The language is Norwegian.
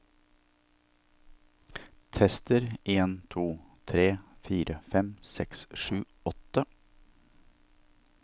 Tester en to tre fire fem seks sju åtte